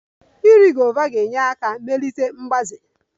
Iri guavas ga-enyere aka melite mgbaze